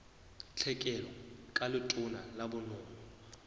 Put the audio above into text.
tlhekelo ka letona la bonono